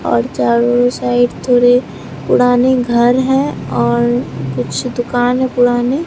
और चारों साइड थोड़ी पुरानी घर हैं और कुछ दुकान है पुरानी।